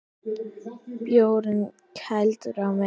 Bjórinn kældur á meðan.